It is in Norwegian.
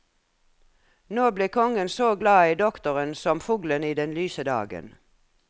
Nå ble kongen så glad i doktoren som fuglen i lyse dagen.